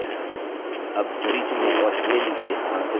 अब tree चुनें और इसे नीचे स्थानांतरित करें